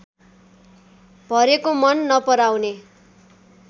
भरेको मन नपराउने